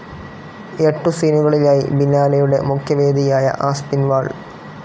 എട്ടു സീനുകളിലായി ബിനാലെയുടെ മുഖ്യവേദിയായ ആസ്പിൻവാൾ